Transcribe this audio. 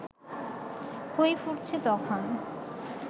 খই ফুটছে তখন